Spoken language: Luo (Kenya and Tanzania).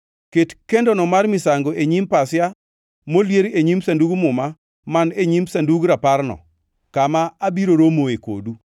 Ket kendono mar misango e nyim pasia molier e nyim Sandug Muma man e nyim Sandug Raparno kama abiro romoe kodu.